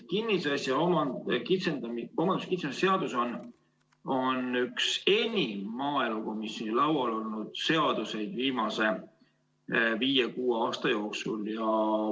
Kinnisasja omandamise kitsendamise seadus on üks enim maaelukomisjoni laual olnud seaduseid viimase viie-kuue aasta jooksul.